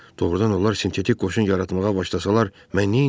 Doğrudan onlar sintetik qoşun yaratmağa başlasalar, mən neyləyərəm?